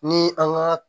Ni an ka